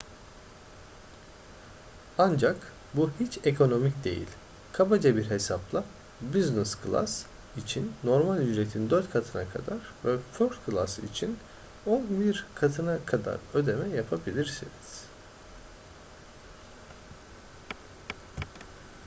ancak bu hiç ekonomik değil kabaca bir hesapla business class için normal ücretin dört katına kadar ve first class için on bir katına kadar ödeme yapabilirsiniz